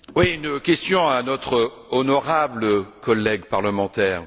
Une question à notre honorable collègue parlementaire.